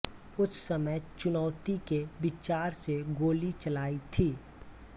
उस समय चुनौती के विचार से गोली चलाई थी